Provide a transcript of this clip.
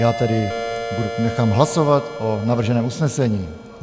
Já tedy nechám hlasovat o navrženém usnesení.